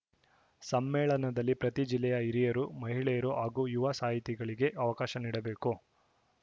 ಸಮ್ಮೇಳನದಲ್ಲಿ ಪ್ರತಿ ಜಿಲ್ಲೆಯ ಹಿರಿಯರು ಮಹಿಳೆಯರು ಹಾಗೂ ಯುವ ಸಾಹಿತಿಗಳಿಗೆ ಅವಕಾಶ ನೀಡಬೇಕು